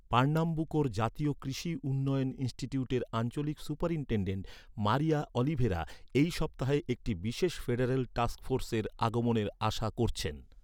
পার্নাম্বুকোর জাতীয় কৃষি উন্নয়ন ইনস্টিটিউটের আঞ্চলিক সুপারিনটেনডেন্ট, মারিয়া অলিভেরা, এই সপ্তাহে একটি বিশেষ ফেডারেল টাস্ক ফোর্সের আগমনের আশা করছেন।